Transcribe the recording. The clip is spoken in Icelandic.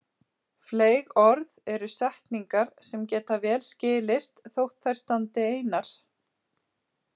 Fleyg orð eru setningar sem geta vel skilist þótt þær standi einar.